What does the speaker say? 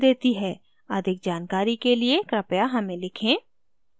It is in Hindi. अधिक जानकारी के लिए कृपया हमें लिखें